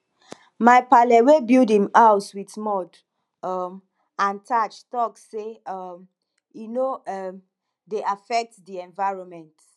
my paale wey build im house wit mud um and thatch talk say um e no um dey affect di environment